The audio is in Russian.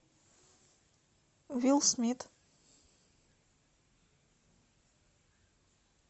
уилл смит